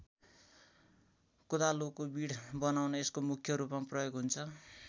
कोदालोको बिँड बनाउन यसको मुख्य रूपमा प्रयोग हुन्छ।